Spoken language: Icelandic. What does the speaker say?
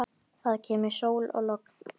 Ónefnd stúlka: Var þetta kalt?